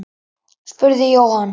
spurði Jóhann.